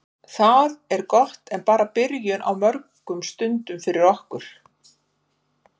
Það er gott en bara byrjun á mörgum stundum fyrir okkur.